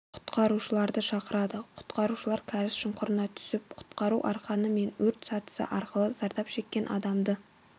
құтқарушыларды шақырады құтқарушылар кәріз шұңқырына түсіп құтқару арқаны мен өрт сатысы арқылы зардап шеккен адамды